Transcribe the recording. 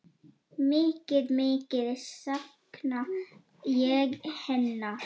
Mikið, mikið sakna ég hennar.